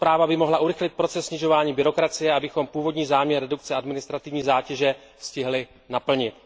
Tato zpráva by mohla urychlit proces snižování byrokracie, abychom původní záměr redukce administrativní zátěže stihli naplnit.